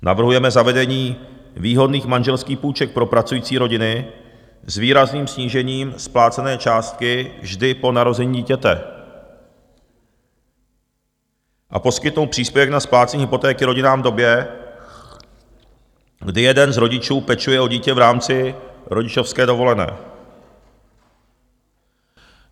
Navrhujeme zavedení výhodných manželských půjček pro pracující rodiny s výrazným snížením splácené částky vždy po narození dítěte, a poskytnout příspěvek na splácení hypotéky rodinám v době, kdy jeden z rodičů pečuje o dítě v rámci rodičovské dovolené.